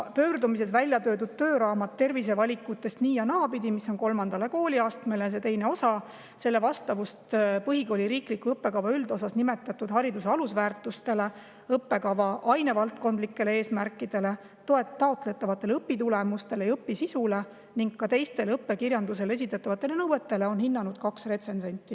Pöördumises välja toodud tööraamat "Tervisevalikutest nii‑ ja naapidi" – see on kolmandale kooliastmele, see on teine osa –, selle vastavust põhikooli riikliku õppekava üldosas nimetatud hariduse alusväärtustele, õppekava ainevaldkondlikele eesmärkidele, taotletavatele õpitulemustele ja õpisisule ning ka teistele õppekirjandusele esitatavatele nõuetele on hinnanud kaks retsensenti.